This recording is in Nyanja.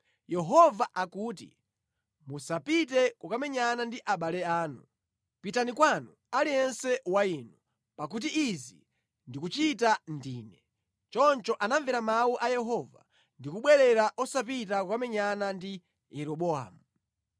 ‘Yehova akuti: Musapite kukamenyana ndi abale anu. Pitani kwanu, aliyense wa inu, pakuti izi ndikuchita ndine.’ ” Choncho anamvera mawu a Yehova ndi kubwerera osapita kukamenyana ndi Yeroboamu.